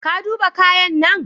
Ka duba kayan nan?